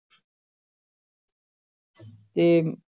ਤੇ